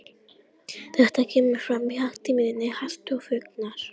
Þetta kemur fram í hagtíðindum Hagstofunnar.